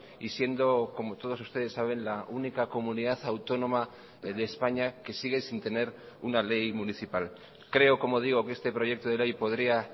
y siendo como todos ustedes saben la única comunidad autónoma de españa que sigue sin tener una ley municipal creo como digo que este proyecto de ley podría